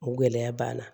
O gɛlɛya b'an na